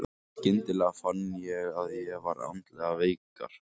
Skyndilega fann ég að ég var andlega veikar.